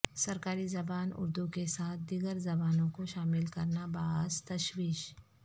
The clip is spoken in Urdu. سرکاری زبان اردو کے ساتھ دیگر زبانوں کو شامل کرنا باعث تشویش